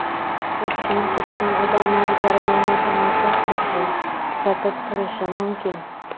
O‘tgan-ketgan odamlar jarayonni tomosha qilishi, kuzatib turishi mumkin.